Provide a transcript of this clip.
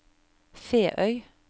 Feøy